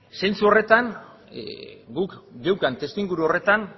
zentzu horretan guk geneukan testuinguru horretan